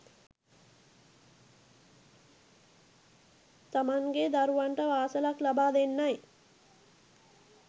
තමන්ගේ දරුවන්ට පාසලක් ලබා දෙන්නයි